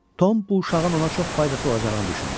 Tom bu uşağın ona çox faydası olacağını düşündü.